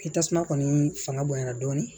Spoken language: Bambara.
Ni tasuma kɔni fanga bonyana dɔɔnin